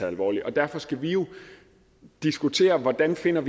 alvorligt derfor skal vi jo diskutere hvordan vi finder